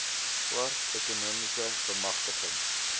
swart ekonomiese bemagtiging